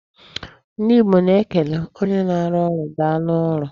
Ndị Igbo na-ekele onye na-arụ ọrụ daalụ ọrụ.